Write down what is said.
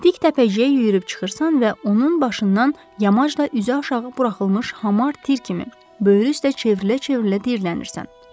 Dik təpəciyə yüyürüb çıxırsan və onun başından yamaşda üzü aşağı buraxılmış hamar tir kimi, böyür üstə çevrilə-çevrilə diyirlənirsən.